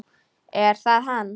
Er það hann?